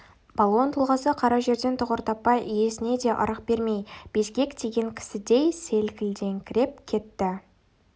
балуан тұлғасы қара жерден тұғыр таппай иесіне де ырық бермей безгек тиген кісідей селкілдеңкіреп кетті